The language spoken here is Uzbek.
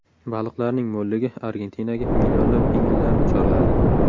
Baliqlarning mo‘lligi Argentinaga millionlab pingvinlarni chorladi .